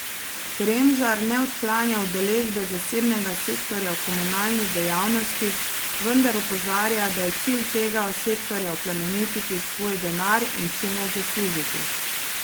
Kremžar ne odklanja udeležbe zasebnega sektorja v komunalni dejavnosti, vendar opozarja, da je cilj tega sektorja oplemeniti svoj denar in čim več zaslužiti.